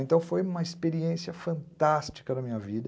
Então foi uma experiência fantástica na minha vida.